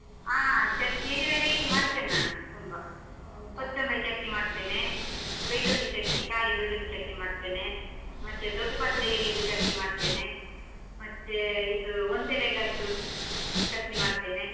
ಆ ಚಟ್ನಿಯಲ್ಲಿ variety ಮಾಡ್ತೇನ್ ನಾನು ಕೊತ್ತೊಂಬರಿ ಚಟ್ನಿ ಮಾಡ್ತೇನೆ, ಬೆಳ್ಳುಳ್ಳಿ ಚಟ್ನಿ ಕಾಲಿ ಬೆಳ್ಳುಳ್ಳಿ ಚಟ್ನಿ ಮಾಡ್ತೇನೆ, ಮತ್ತೆ ದೊಡ್ಡ್ ಪತ್ರೆ ಎಲೆದು ಚಟ್ನಿ ಮಾಡ್ತೇನೆ, ಮತ್ತೇ ಇದು ಒಂದೇಲಗದ್ದು, ಚಟ್ನಿ ಮಾಡ್ತೇನೆ.